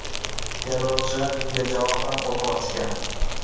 Terrorchilar bunga javoban o‘t ochgan.